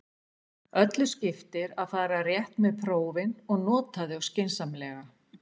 Öllu skiptir að fara rétt með prófin og nota þau skynsamlega.